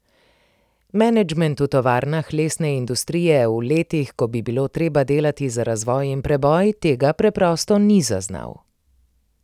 Menedžment v tovarnah lesne industrije v letih, ko bi bilo treba delati za razvoj in preboj, tega preprosto ni zaznal.